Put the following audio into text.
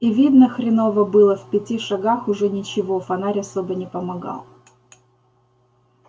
и видно хреново было в пяти шагах уже ничего фонарь особо не помогал